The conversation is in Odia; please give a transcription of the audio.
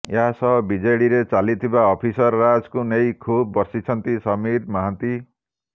ଏହାସହ ବିଜେଡିରେ ଚାଲିଥିବା ଅଫିସର ରାଜକୁ ନେଇ ଖୁବ ବର୍ଷିଛନ୍ତି ସମୀର ମହାନ୍ତି